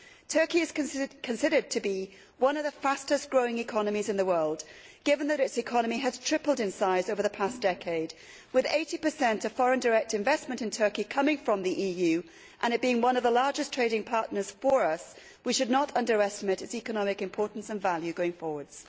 Turkey is considered to be one of the fastest growing economies in the world. Given that its economy has tripled in size over the past decade, with 80 of foreign direct investment in Turkey coming from the EU and it being one of the largest trading partners for us, we should not underestimate its economic importance and value going forwards.